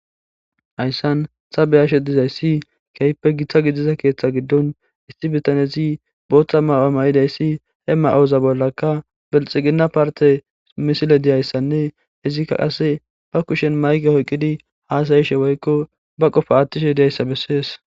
hayssan ta vvvvbeyashe dizayssi keyppe giththa gidiza keeththa giddon isti bitanezi booththa maw7amay7idayssi ema7ooza bollaka belxigina parte misile diyayssanne izikka qase ba kushen mayge hoyqqidi haasayishe woykko ba qofa attishe diyayssa bessees